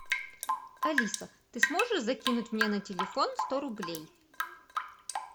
алиса ты сможешь закинуть мне на телефон сто рублей